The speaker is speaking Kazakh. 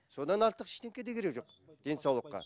содан артық де керегі жоқ денсаулыққа